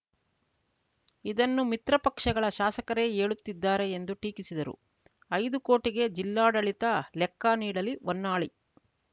ಇದನ್ನು ಮಿತ್ರ ಪಕ್ಷಗಳ ಶಾಸಕರೇ ಹೇಳುತ್ತಿದ್ದಾರೆ ಎಂದು ಟೀಕಿಸಿದರು ಐದು ಕೋಟಿಗೆ ಜಿಲ್ಲಾಡಳಿತ ಲೆಕ್ಕ ನೀಡಲಿ ಹೊನ್ನಾಳಿ